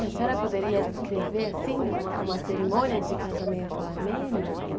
E a senhora poderia descrever assim uma cerimônia de casamento armênio?